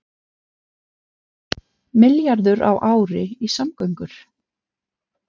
Milljarður á ári í samgöngur